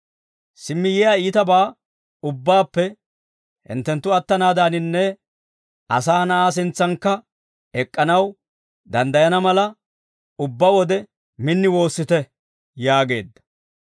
Simmi yiyaa iitabaa ubbaappe hinttenttu attanaadaaninne asaa na'aa sintsankka ek'k'anaw danddayana mala, ubbaa wode min woossite» yaageedda.